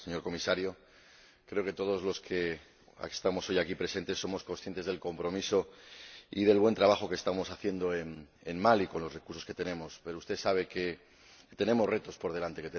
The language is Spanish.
Señora Presidenta, señor Comisario, creo que todos los que estamos hoy aquí presentes somos conscientes del compromiso y del buen trabajo que estamos haciendo en Mali con los recursos que tenemos, pero usted sabe que tenemos retos por delante